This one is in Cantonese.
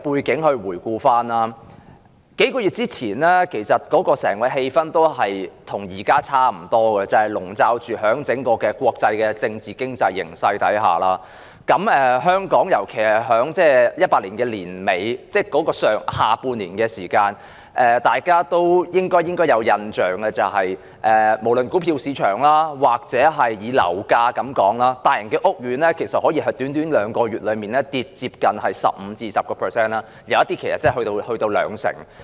我可以回顧一些背景，在數個月前，整個氣氛與現時差不多，籠罩在整體國際的政治及經濟形勢下，香港在2018年下半年時，大家應有印象是，股票和樓價下跌，大型屋苑的樓價可以在年底短短兩個月內下跌超過 15%， 部分更下跌多達兩成。